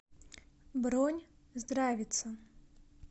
бронь здравица